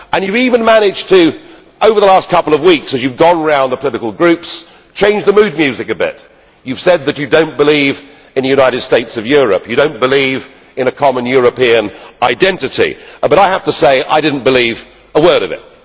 You have even managed over the last couple of weeks, as you have gone round the political groups, to change the mood music a bit. You have said that you do not believe in a united states of Europe, and that you do not believe in a common European identity, but I have to say I did not believe a word of it.